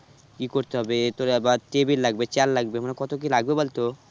কি করতে হবে তোর আবার table লাগবে chair লাগবে মানে কত কি লাগবে বলতো?